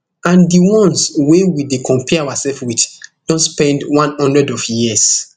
and di ones wey we dey compare oursef wit don spend one hundred of years